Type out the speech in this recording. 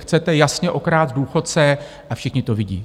Chcete jasně okrást důchodce a všichni to vidí!